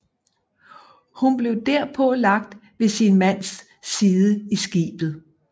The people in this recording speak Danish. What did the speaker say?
Hun blev derpå lagt ved sin mands side i skibet